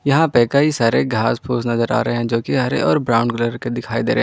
यहां पे कई सारे घास फूस नज़र आ रहे हैं जो कि हरे और ब्राउन के दिखाई दे रहे हैं।